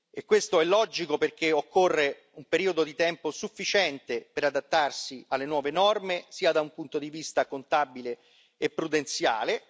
E questo è logico, perché occorre un periodo di tempo sufficiente per adattarsi alle nuove norme, da un punto di vista contabile e prudenziale.